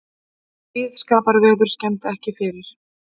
Blíðskaparveður skemmdi ekki fyrir